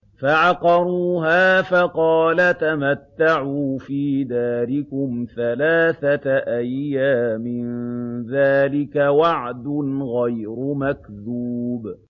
فَعَقَرُوهَا فَقَالَ تَمَتَّعُوا فِي دَارِكُمْ ثَلَاثَةَ أَيَّامٍ ۖ ذَٰلِكَ وَعْدٌ غَيْرُ مَكْذُوبٍ